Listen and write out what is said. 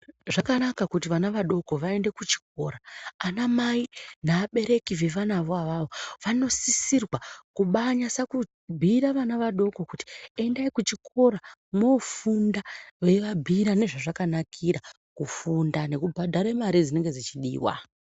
Zvakhanakha khuti vana vadokho vaende khuchikhora. Anamai neabereki vevanavo avavo vanosisirwa khubanyasokubhuira vana vadokho khuthi endai khuchikora mwoofunda veivabhuyira nezvazvakanakira khufunda nekubhadhare mare dzinonga dzechidiwa.